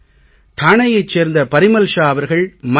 டாணேயைச் சேர்ந்த பரிமல் ஷா அவர்கள் mygov